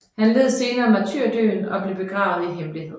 Han led senere martyrdøden og blev begravet i hemmelighed